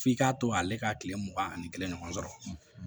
F'i k'a to ale ka tile mugan ani kelen ɲɔgɔn sɔrɔ